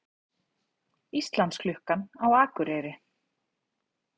Íslandsklukkan á Akureyri